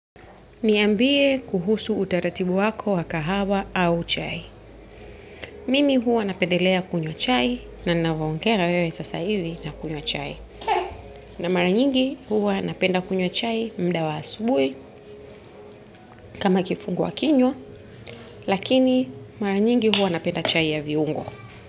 Niambie kuhusu utaratibu wako wa kahawa au chai. Mimi huwa napedelea kunywa chai na navyongea na wewe sasa hivi nakunywa chai. Na mara nyingi huwa napenda kunywa chai muda wa asubuhi kama kifungwa kinywa, lakini maranyingi huwa napenda chai ya viungo.